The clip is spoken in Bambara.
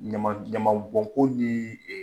Ɲaman ɲaman bɔn ko ye